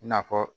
I n'a fɔ